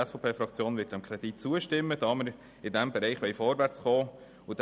Die SVP wird diesem Kredit zustimmen, da wir in diesem Bereich vorwärtskommen wollen.